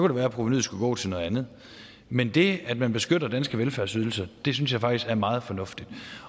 det være at provenuet skulle gå til noget andet men det at man beskytter danske velfærdsydelser synes jeg faktisk er meget fornuftigt